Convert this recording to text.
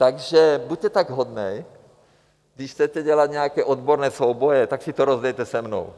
Takže buďte tak hodný, když chcete dělat nějaké odborné souboje, tak si to rozdejte se mnou!